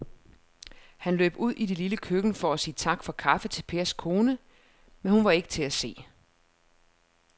Han løb ud i det lille køkken for at sige tak for kaffe til Pers kone, men hun var ikke til at se.